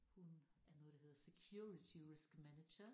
Hun er noget der hedder security risk manager